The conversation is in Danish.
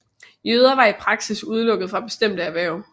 Jøder var i praksis udelukket fra bestemte erhverv